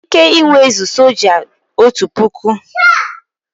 Otu Batalịọn nwere ike inwezu soja otu puku